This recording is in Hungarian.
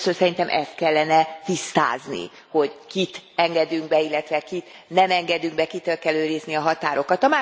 Tehát először szerintem ezt kellene tisztázni, hogy kit engedünk be, illetve kit nem engedünk be, kitől kell őrizni a határokat.